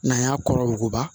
N'an y'a kɔrɔ muguba